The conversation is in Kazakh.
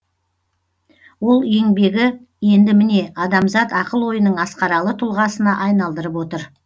ол еңбегі енді міне адамзат ақыл ойының асқаралы тұлғасына айналдырып отыр